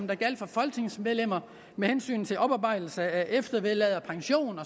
der gælder for folketingsmedlemmer med hensyn til oparbejdelse af eftervederlag pension